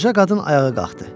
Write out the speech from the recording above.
Qoca qadın ayağa qalxdı.